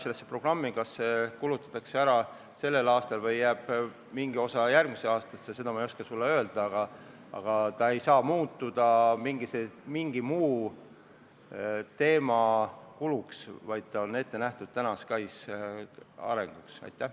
Ja kas see raha kulutatakse ära sellel aastal või jääb mingi osa järgmisse aastasse, seda ma ei oska sulle öelda, aga ta ei saa muutuda mingiks muuks kuluks, kui see on ette nähtud SKAIS2 arendamiseks.